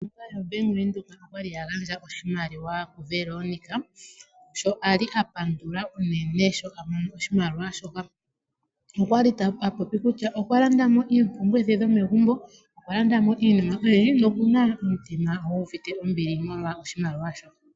Ombaanga yaBank Windhoek oyali ya gandja oshimaliwa kuVeronica, sho a li a pandula unene sho a mono oshimaliwa shoka. Okwa li a popi kutya okwa landa mo iipungulitho yomegumbo, okwa landa mo iinima oyindji nokuna omutima gu uvite ombili molwa oshimaliwa sho.